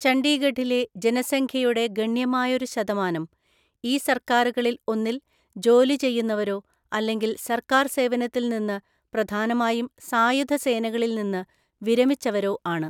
ചണ്ഡീഗഢിലെ ജനസംഖ്യയുടെ ഗണ്യമായൊരു ശതമാനം ഈ സർക്കാറുകളിൽ ഒന്നിൽ ജോലി ചെയ്യുന്നവരോ അല്ലെങ്കിൽ സർക്കാർ സേവനത്തിൽനിന്ന്, പ്രധാനമായും സായുധ സേനകളിൽനിന്ന് വിരമിച്ചവരോ ആണ്.